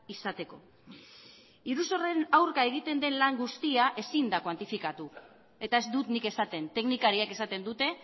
izateko iruzurraren aurka egiten den lan guztia ezin da kuantifikatu eta ez dut nik esaten teknikariek esaten dute